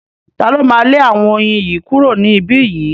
Ta ló máa lé àwọn oyin yìí kúrò ní ibí yìí?